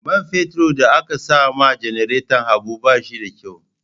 Man fetur da aka sama janareton Habu ba shi da kyau.